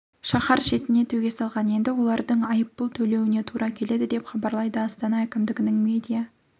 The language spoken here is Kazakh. шаһар шетіне төге салған енді олардың айыппұл төлеуіне тура келеді деп хабарлайды астана әкімдігінің медиа